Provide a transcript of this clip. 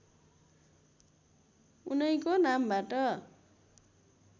उनैको नामबाट